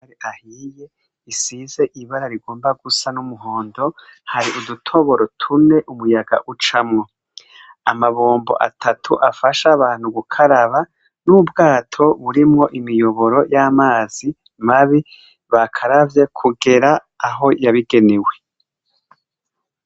Gahiye. Isize ibara rigomba gusa n'umuhondo hari udutoboro tune umuyaga ucamwo. Amabombo atatu afasha abantu gukaraba n'ubwato burimwo imiyoboro y'amazi mabi bakaravye kugera aho yabigenewe.